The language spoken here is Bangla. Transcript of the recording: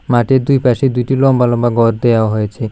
মাঠের দুই পাশে দুইটি লম্বা লম্বা ঘর দেওয়া হয়েছে।